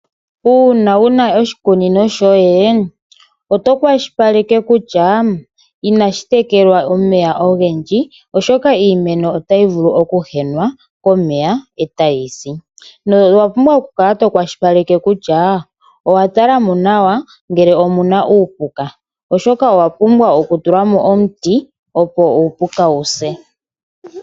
Una wuna oshikunino shoye oto kwashilipaleke kutya inashitekelwa omeya ongendji oshoka iimeno otayi vulu okuhenwa komeya etayisi, nowapumbwa oku kala to kwashilipaleke kutya owatulamo nawa ngele omuna uupuka oshoka owapumbwa oku tulamo oti opo uupuka wu se.